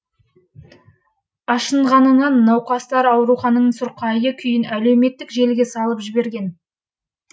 ашынғанынан науқастар аурухананың сұрқайы күйін әлеуметтік желіге салып жіберген